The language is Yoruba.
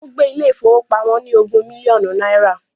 Ó gbé ilé ìfowópamọ́ ní ogún mílíọ̀nù náírà